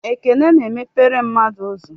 Ekele na emepere mmadụ ụzọ.